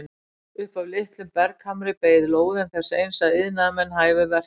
Upp af litlum berghamri beið lóðin þess eins að iðnaðarmenn hæfu verkið.